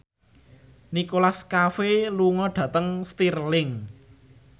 Nicholas Cafe lunga dhateng Stirling